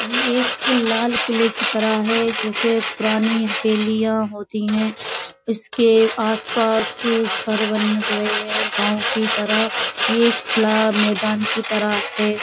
ये एक लाल-किले की तरह है जैसे पुरानी हवेलियां होती है। उसके आस-पास घर बन रहे हैं गांव की तरह। ये एक खुला मैदान की तरह है।